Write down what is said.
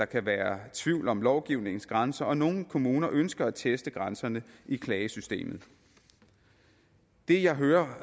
kan være tvivl om lovgivningens grænser og nogle kommuner ønsker at teste grænserne i klagesystemet det jeg hører